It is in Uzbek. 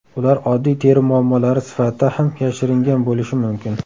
Ular oddiy teri muammolari sifatida ham yashiringan bo‘lishi mumkin.